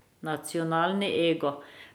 Nacionalni ego.